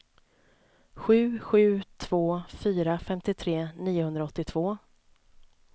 sju sju två fyra femtiotre niohundraåttiotvå